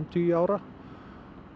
tugi ára